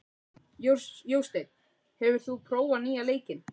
Jósteinn, hefur þú prófað nýja leikinn?